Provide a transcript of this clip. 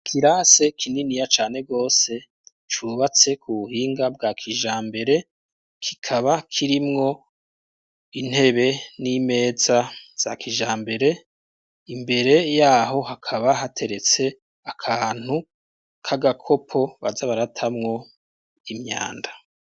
Ikirasi kininiya cane gose cubatse ku buhinga bwa kijambere, kikaba kirimwo intebe n'imeza za kijambere, imbere y'aho hakaba hateretse akantu k'agakopo baza baratamwo imyanda.